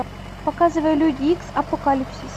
показывай люди икс апокалипсис